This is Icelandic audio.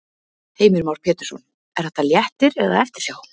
Heimir Már Pétursson: Er þetta léttir eða eftirsjá?